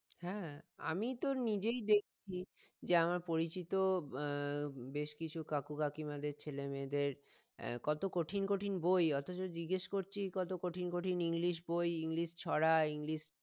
হ্যাঁ আমি তো নিজেই দেখছি যে আমার পরিচিত আহ বেশ কিছু কাকু কাকিমাদের ছেলে মেয়েদের আহ কত কঠিন কঠিন বই অথচ জিজ্ঞেস করছি কত কঠিন কঠিন english বই english ছড়া english